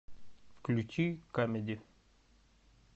включи камеди